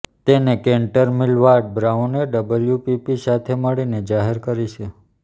તેને Kantar Millward બ્રાઉને WPP સાથે મળીને જાહેર કરી છે